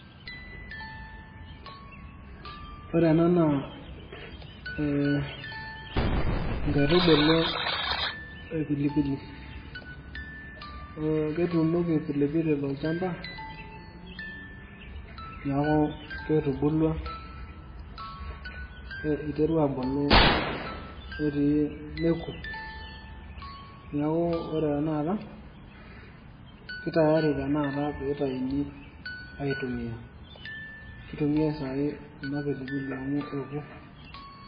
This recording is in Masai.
Ore enaa naa ee nkaitubulu epilipili ,ketuunoki vilevile tolchamba neaku ketubulua, iterua abulu netii neaku ore tanakata kei tayari tanakata peitaini au tumia, kitumia sai ena pilipili amu eo.